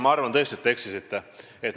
Ma arvan tõesti, et te eksite.